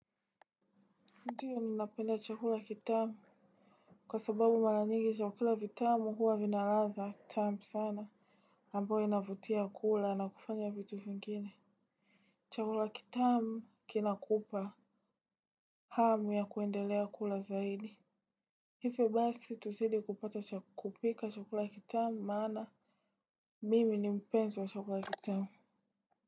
Ndiyo nina napenda chakula kitamu. Kwa sababu malanyigi chakula vitamu huwa vinaladha tamu sana. Ambao inavutia kula na kufanya vitu vingine. Chakula kitamu kina kupa. Hamu ya kuendelea kula zaidi. Hivyo basi sisi tusidi kupika chakula kitamu maana mimi ni mpenzi wa chakula.